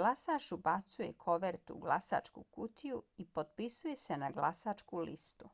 glasač ubacuje kovertu u glasačku kutiju i potpisuje se na glasačku listu